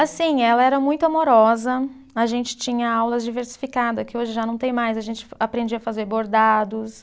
Assim, ela era muito amorosa, a gente tinha aulas diversificada, que hoje já não tem mais, a gente aprendia a fazer bordados.